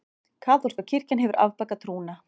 Kaþólska kirkjan hefur afbakað trúna.